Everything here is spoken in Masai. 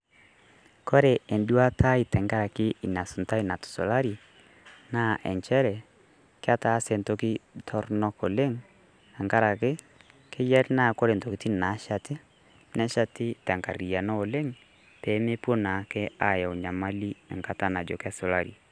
Kore eduata ai tenkaraki inasuntai natusulari, na injere, ketaase entoki torronok oleng, tenkaraki, keyier na ore intokiting nasheti, nesheti tenkarriyiano oleng',pemepuo naake ayau nyamali enkata najo kesulari.